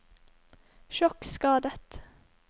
sjokkskadet